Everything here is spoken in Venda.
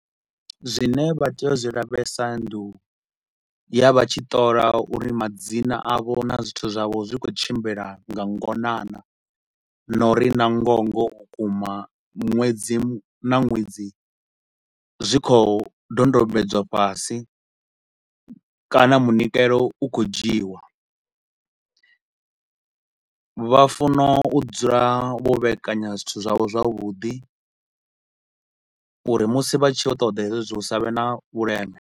Zwine vha tea u zwi lavhelesa ndi u ya vha tshi ṱola uri madzina avho na zwithu zwavho zwi khou tshimbila nga ngona naa na uri na ngoho ngoho vhukuma ṅwedzi na ṅwedzi zwi khou dodombedzwa fhasi kana munikelo u khou dzhiwa. Vha funa u dzula vho vheekanya zwithu zwavho zwavhuḓi uri musi vha tshi yo ṱoḓa hezwo zwithu hu sa vhe na vhuleme.